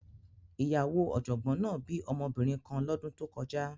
Ìyàwó ọ̀jọ̀gbọ́n náà bí ọmọbìnrin kan lọ́dún tó kọjá